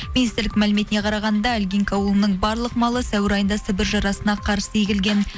министрлік мәліметіне қарағанда илгинка аулының барлық малы сәуір айында сібір жарасына қарсы егілген